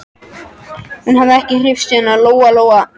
Hún hafði ekki hreyfst síðan Lóa Lóa mundi eftir sér.